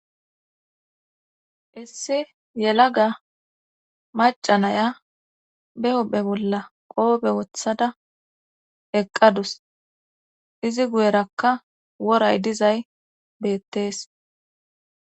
issi yela ga macanaya be hophe bolla qoobe wothada eqqadus izi guyerakka woray dizay beettees